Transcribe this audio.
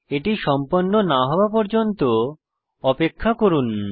এটি সম্পন্ন না হওয়া পর্যন্ত অপেক্ষা করুন